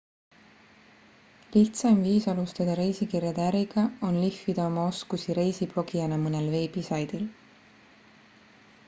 lihtsaim viis alustada reisikirjade äriga on lihvida oma oskusi reisiblogijana mõnel veebisaidil